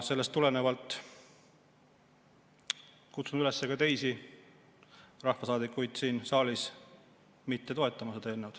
Sellest tulenevalt kutsun üles ka teisi rahvasaadikuid siin saalis mitte toetama seda eelnõu.